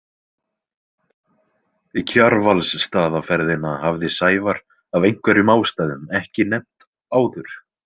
Kjarvalsstaðaferðina hafði Sævar af einhverjum ástæðum ekki nefnt áður.